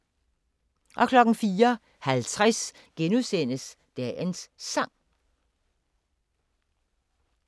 04:50: Dagens Sang *